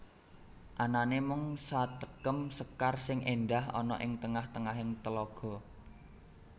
Anane mung satekem sekar sing endah ana ing tengah tengahing telaga